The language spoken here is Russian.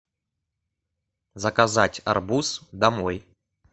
заказать арбуз домой